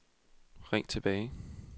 ring tilbage